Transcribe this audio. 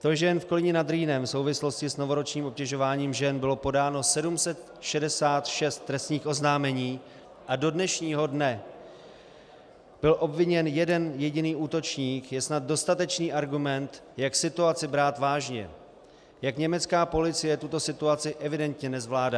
To, že jen v Kolíně nad Rýnem v souvislosti s novoročním obtěžováním žen bylo podáno 766 trestních oznámení a do dnešního dne byl obviněn jeden jediný útočník, je snad dostatečný argument, jak situaci brát vážně, jak německá policie tuto situaci evidentně nezvládá.